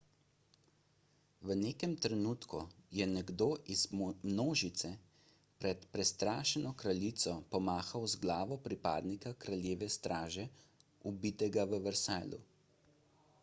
v nekem trenutku je nekdo iz množice pred prestrašeno kraljico pomahal z glavo pripadnika kraljeve straže ubitega v versaillesu